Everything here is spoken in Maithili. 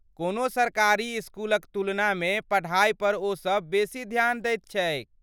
कोनो सरकारी इसकुलक तुलनामे पढा़इ पर ओ सभ बेसी ध्यान दैत छैक।